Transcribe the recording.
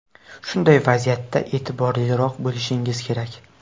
Shunday vaziyatda e’tiborliroq bo‘lishingiz kerak.